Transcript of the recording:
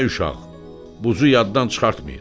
Ay uşaq, buzu yaddan çıxartmayın.